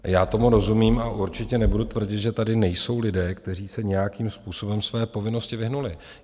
Já tomu rozumím a určitě nebudu tvrdit, že tady nejsou lidé, kteří se nějakým způsobem své povinnosti vyhnuli.